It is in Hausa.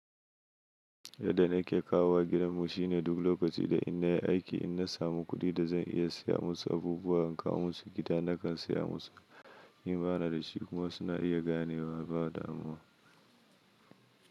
Yadda na ke kawo wa gidan mu shine duk lokaci da in na yi aiki, in na samu kuɗi da zan iya siya musu abubuwa in kawo musu gida, na kan siya musu. In ba na da shi kuma suna iya ganewa ba damuwa.